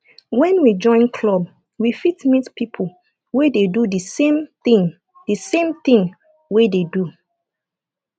when we join club we fit meet pipo wey dey do the same thing the same thing wey dey do